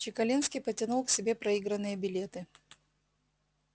чекалинский потянул к себе проигранные билеты